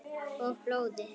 Og blóði.